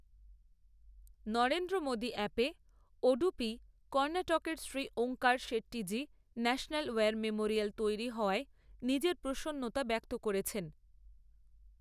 নরেন্দ্র মোদী অ্যাপে ওড়ুপী, কর্ণাটকের Shri Omkar Shettyji national war memorial তৈরি হওয়ায় নিজের প্রসন্নতা ব্যক্ত করেছেন।